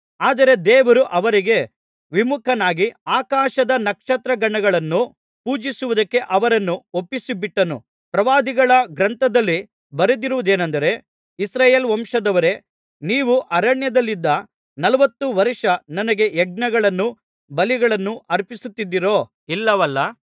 ಆದರೆ ದೇವರು ಅವರಿಗೆ ವಿಮುಖನಾಗಿ ಆಕಾಶದ ನಕ್ಷತ್ರಗಣಗಳನ್ನು ಪೂಜಿಸುವುದಕ್ಕೆ ಅವರನ್ನು ಒಪ್ಪಿಸಿಬಿಟ್ಟನು ಪ್ರವಾದಿಗಳ ಗ್ರಂಥದಲ್ಲಿ ಬರೆದಿರುವುದೇನಂದರೆ ಇಸ್ರಾಯೇಲ್ ವಂಶದವರೇ ನೀವು ಅರಣ್ಯದಲ್ಲಿದ್ದ ನಲವತ್ತು ವರ್ಷ ನನಗೆ ಯಜ್ಞಗಳನ್ನೂ ಬಲಿಗಳನ್ನೂ ಅರ್ಪಿಸುತ್ತಿದ್ದಿರೋ ಇಲ್ಲವಲ್ಲಾ